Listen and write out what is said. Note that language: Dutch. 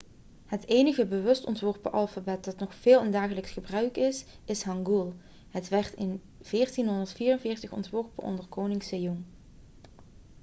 het enige bewust ontworpen alfabet dat nog veel in dagelijks gebruik is is hangul. het werd in 1444 ontworpen onder koning sejong 1418-1450